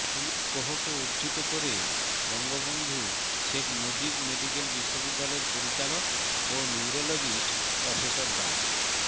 Philip কোহকে উদ্ধৃত করে বঙ্গবন্ধু শেখ মুজিব মেডিকেল বিশ্ববিদ্যালয়ের পরিচালক ও নিওরোলজিস্ট প্রফেসর ডা